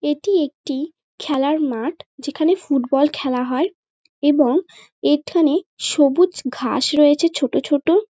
এটি একটি খেলার মাঠ যেখানে ফুটবল খেলা হয়। এবং এখানে সবুজ ঘাস রয়েছে ছোট ছোট।